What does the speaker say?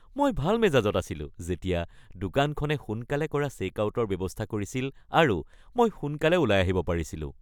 মই ভাল মেজাজত আছিলো যেতিয়া দোকানখনে সোনকালে কৰা চেকআউটৰ ব্যৱস্থা কৰিছিল আৰু মই সোনকালে ওলাই আহিব পাৰিছিলো।